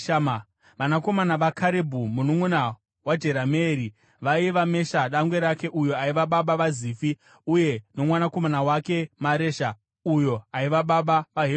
Vanakomana vaKarebhu mununʼuna waJerameeri vaiva: Mesha dangwe rake, uyo aiva baba vaZifi uye nomwanakomana wake Maresha, uyo aiva baba vaHebhuroni.